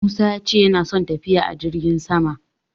Musa ya ce yana son tafiya a jirgin sama.